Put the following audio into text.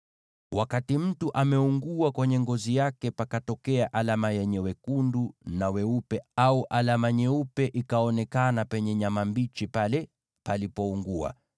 “Wakati mtu ameungua kwenye ngozi yake, pakatokea alama yenye wekundu na weupe, au alama nyeupe ikaonekana penye nyama mbichi pale palipoungua,